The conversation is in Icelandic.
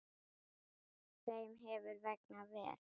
Þeim hefur vegnað vel.